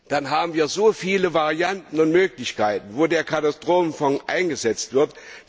Dann haben wir so viele Varianten und Möglichkeiten, wo der Katastrophenfonds eingesetzt wird.